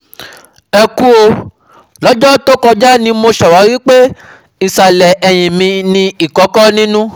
Ẹ kú o, lọ́jọ́ tó kọjá ni mo ṣàwárí pé ìsàlẹ̀ ẹ̀yìn mi ní ìkòkò nínú